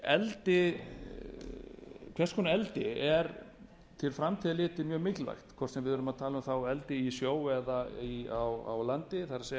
hvers konar eldi er til framtíðar litið mjög mikilvægt hvort sem við erum þá að tala um eldi í sjó eða á landi það